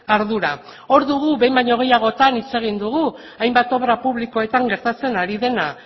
ardura hor dugu behin baino gehiagotan hitz egin dugu hainbat obra publikoetan gertatzen ari dena